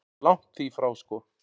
Langt því frá sko.